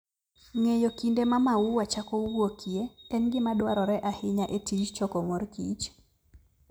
Ng'eyo kinde ma maua chako wuokie en gima dwarore ahinya e tij choko mor kich.